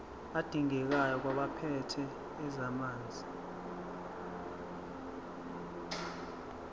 adingekayo kwabaphethe ezamanzi